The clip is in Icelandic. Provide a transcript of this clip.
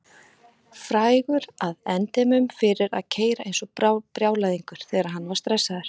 Frægur að endemum fyrir að keyra eins og brjálæðingur þegar hann var stressaður.